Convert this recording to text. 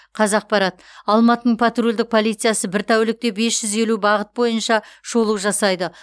қазақпарат алматының патрульдік полициясы бір тәулікте бес жүз елу бағыт бойынша шолу жасайды